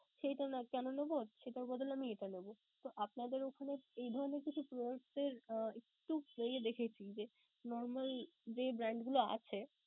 সেইটা আমরা কেনো নেবো? সেটার বদলে আমি এটা নেবো. তো আপনাদের ওখানে এই ধরণের কিছু product এর একটু বেশি যে normal যে brand গুলো আছে